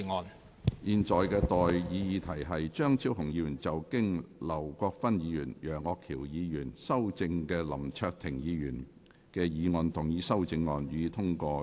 我現在向各位提出的待議議題是：張超雄議員就經劉國勳議員及楊岳橋議員修正的林卓廷議員議案動議的修正案，予以通過。